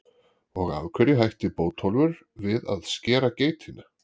Og af hverju hætti Bótólfur við að skera geitina?